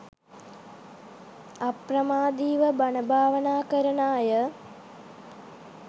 අප්‍රමාදීව බණ භාවනා කරන අය